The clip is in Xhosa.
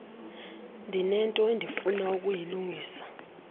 ndinento endifuna ukuyilungisa